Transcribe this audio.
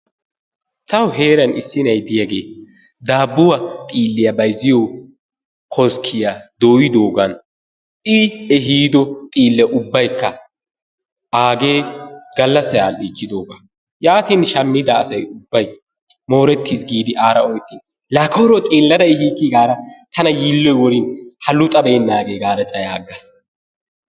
Tawu heeran issi nayi de'iyagee daabuwa xiiliya bayzziyo koskkiya doyddoogan I ehiiddo xiille ubbaykka aagee gallassay adhdhichchiddoogaa yaattin shammida asay ubbay moorettiis giidi aara ooyettin la koyro xeellada ehiikki gaadda tana yiiloy worin ha luxxabeenaagee gaada cayaggaas.